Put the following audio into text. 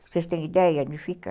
Vocês têm ideia onde fica?